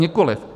Nikoliv.